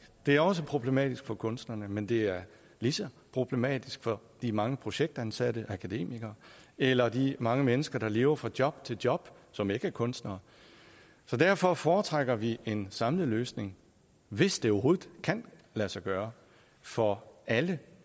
det er også problematisk for kunstnerne men det er lige så problematisk for de mange projektansatte akademikere eller de mange mennesker der lever fra job til job som ikke er kunstnere derfor foretrækker vi en samlet løsning hvis det overhovedet kan lade sig gøre for alle